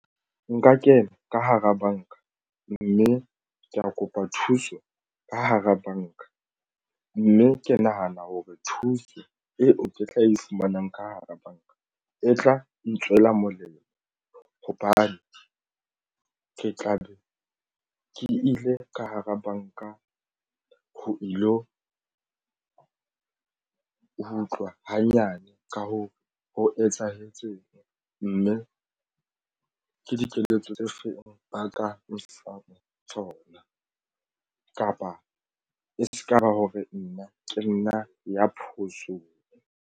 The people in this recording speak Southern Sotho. Nka kena ka hara banka mme ke ya kopa thuso ka hara banka mme ke nahana hore thuso eo ke tla e fumanang ka hara banka e tla ntswela molemo hobane ke tla be ke ile ka hara banka ho ilo ho utlwa hanyane ka hoo etsahetseng, mme ke dikeletso tse feng ba ka nfang tsona kapa e se ka ba hore nna ke nna ya phoso.